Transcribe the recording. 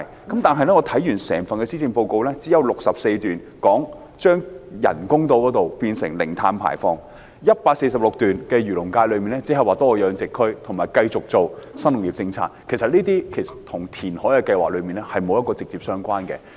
但是，我看完整份施政報告，只有第64段提及將人工島發展成為零碳排放社區、第146段提出為漁農界多設一個海魚養殖區，以及繼續推行新農業政策，這些與填海計劃並沒有直接關係。